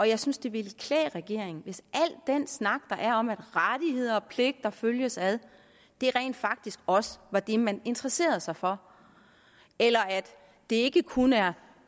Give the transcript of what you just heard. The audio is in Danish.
jeg synes det ville klæde regeringen hvis al den snak der er om at rettigheder og pligter følges ad rent faktisk også var det man interesserede sig for eller at det ikke kun er